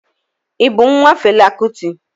Ị bụ nwa Fela Kuti?